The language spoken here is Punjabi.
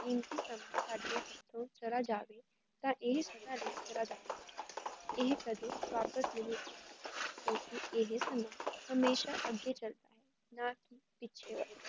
ਕੀਮਤੀ ਸਮਾਂ ਸਾਡੇ ਹੱਥੋਂ ਚਲਾ ਜਾਵੇ ਤਾਂ ਏਹ ਸਮਾਂ ਵੀ ਚੱਲਾ ਜਾਵੇ, ਏਹ ਕਦੇ ਵਾਪਸ ਨਹੀਂ ਕਿਉਂਕੀ ਏਹ ਸਮਾਂ ਹਮੇਸ਼ਾ ਅਗੇ ਚੱਲਦੇ ਨਾ ਕੀ ਪਿੱਛੇ ਵੱਲ